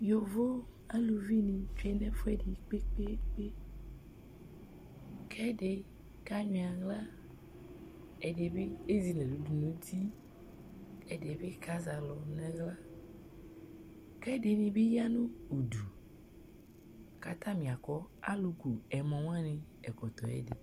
Yovo aluvinɩ tsue nʋ ɛfʋɛdɩ kpe-kpe-kpe kʋ ɛdɩ kanyʋɛ aɣla, ɛdɩ bɩ ezi nʋ ɛlʋ dʋ nʋ uti, ɛdɩ bɩ kazɛ alʋ nʋ aɣla kʋ ɛdɩnɩ bɩ ya nʋ udu kʋ atanɩ akɔ alʋku ɛmɔ wanɩ ɛkɔtɔ yɛ ɛdɩ